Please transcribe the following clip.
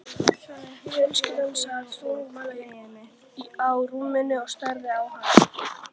Fjölskyldan sat þögul á rúmunum og starði á hana.